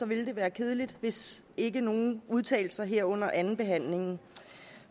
ville være kedeligt hvis ikke nogen udtalte sig her under andenbehandlingen